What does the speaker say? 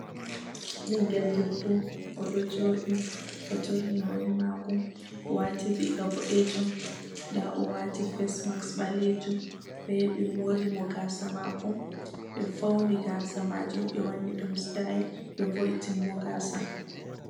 Ɓingel debbo odo joɗi oturni hore mako, o wati riga boɗejum, nda o wati facmaks ɓalejum, oyahi ɓe mori mo gasa mako, Ɓe fauni ni gasa majum ɓe wani ɗum stayel ɓe vo'itini o gasa.